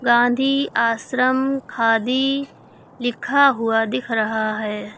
गांधी आश्रम खादी लिखा हुआ दिख रहा है।